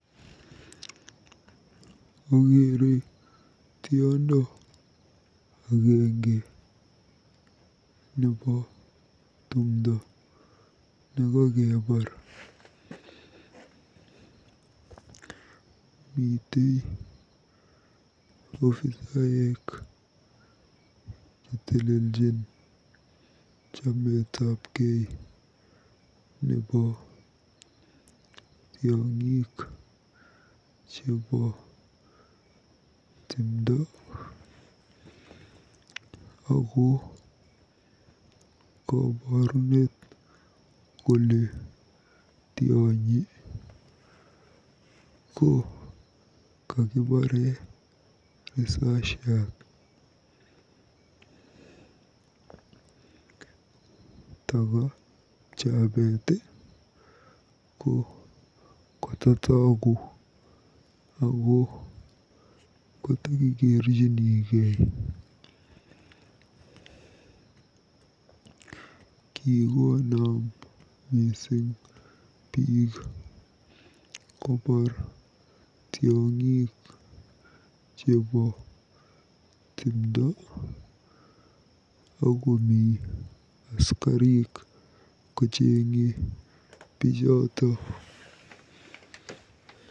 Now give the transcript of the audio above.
Akeere tiondo agenge nebo timdo nekekebaar. Mitei ofisaek cheteljin chametabkei nebo tiong'ik chebo timdo ako koborunet kole tionyi ko kakibaare risasiat. Taka pchabet ko kototogu ako katokikerchinigei. Kikonam biik kobaar tiong'ik chebo timdo akomi askarik kocheng'e bichotok.